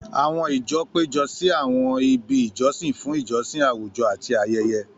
Àwọn ìjọ péjọ sí àwọn ibi ìjọsìn fún ìjọsìn àwùjọ àti ayẹyẹ.